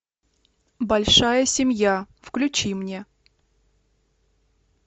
большая семья включи мне